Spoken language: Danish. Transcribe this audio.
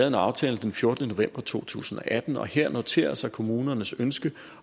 en aftale den fjortende november to tusind og atten og her noterer sig kommunernes ønske